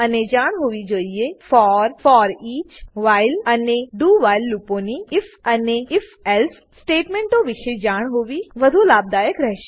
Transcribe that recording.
અને જાણ હોવી જોઈએ for foreach while for foreach while અને do વ્હાઇલ ડૂ વ્હાઈલ લૂપોની અને આઇએફ ઇફ અને if એલ્સે ઇફ એલ્સ સ્ટેટમેંટો વિશે જાણ હોવી વધુ લાભદાયક રહેશે